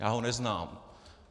Já ho neznám.